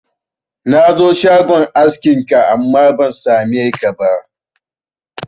Na zo shagon askin ka, amma ban sa me ka ba